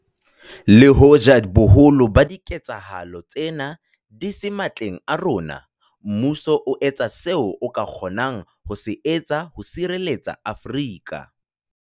Le hoja boholo ba diketsahalo tsena di se matleng a rona, mmuso o etsa seo o ka kgonang ho se etsa ho sireletsa Afrika